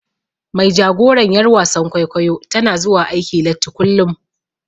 Mai jagoran yar wasan kwaikwayo tana zuwa aiki latti kullum.